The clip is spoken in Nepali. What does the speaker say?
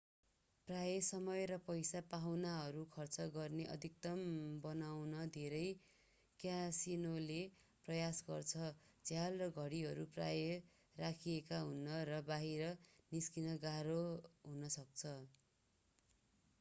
प्रायः समय र पैसा पाहुनाहरू खर्च गर्ने अधिकतम बनाउन धेरै क्यासिनोले प्रयास गर्छन्। झ्याल र घडीहरू प्राय राखिएका हुनन्‌ र बाहिर निस्कन गाह्रो हुन सक्छ।